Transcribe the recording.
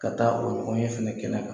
Ka taa o ɲɔgɔn ye fɛnɛ kɛnɛ kan.